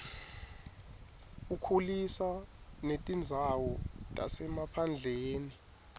ukhulisa netindzawo tasemaphandleni